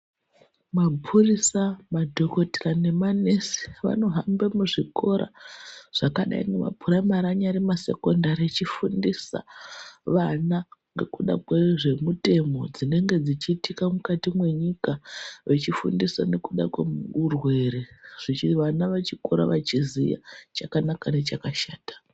Mapurisa madhogokoteya nemanesi vanofamba muzvikora zvakadai nemapuraimari anyari masekondari echifundisa vana. Ngekuda kwezvemutemo dzinenge dzichitika mukati mwenyika. Vachifundisa nekuda kweurwere vana vechikora vachiziya chakanaka nechakashata.